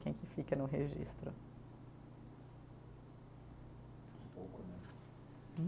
Quem que fica no registro?